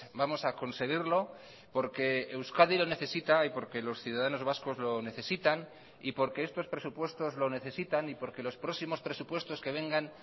vamos a conseguirlo porque euskadi lo necesita y porque los ciudadanos vascos lo necesitan y porque estos presupuestos lo necesitan y porque los próximos presupuestos que vengan